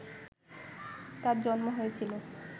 তাঁর জন্ম হয়েছিল